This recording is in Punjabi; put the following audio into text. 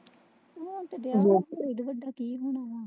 ਹੋਣ ਤੇ ਦਿਆ ਆ ਕੀ ਹੋਣਾ ਆ।